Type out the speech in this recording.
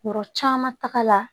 Yɔrɔ caman taga la